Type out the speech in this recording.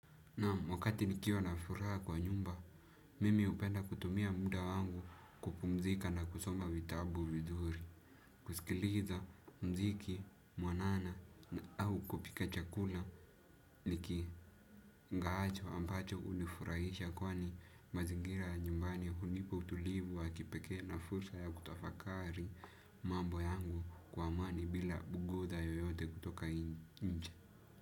Naam, wakati nikiwa na furaha kwa nyumba mimi hupenda kutumia muda wangu kupumzika na kusoma vitabu vizuri, kusikiliza mziki mwanana au kupika chakula niki ngaacho ambacho hunifurahisha kwani mazingira nyumbani hunipa utulivu wa kipekee na fursa ya kutafakari mambo yangu kwa amani bila kuguza yoyote kutoka inje.